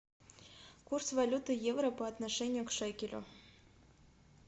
курс валюты евро по отношению к шекелю